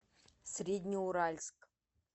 среднеуральск